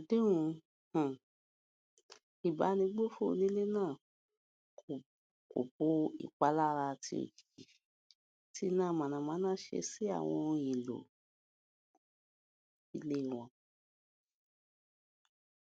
àdéhùn um ìbánigbófò onílé náà kò bo ìpalára tí òjijì tí iná mànàmáná ṣe sí àwọn ohun èlò um ilé wọn